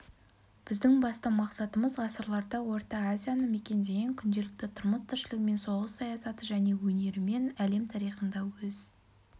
біздің басты мақсатымыз ғасырларда орта азияны мекендеген күнделікті тұрмыс-тіршілігімен соғыс саясаты және өнерімен әлем тарихында өз